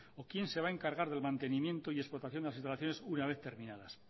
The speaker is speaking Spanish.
o quién se va a encargar del mantenimiento y explotación de las instalaciones una vez terminadas